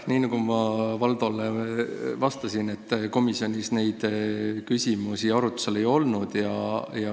Nii nagu ma Valdole vastasin, komisjonis need küsimused arutlusel ei olnud.